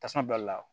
Tasuma balila